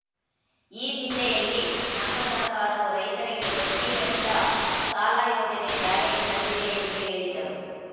ಈ ದಿಸೆಯಲ್ಲಿ ನಮ್ಮ ಸರ್ಕಾರವು ರೈತರಿಗೆ ಬಡ್ಡಿ ರಹಿತ ಸಾಲ ಯೋಜನೆ ಜಾರಿಗೆ ತಂದಿದೆ ಎಂದು ಹೇಳಿದರು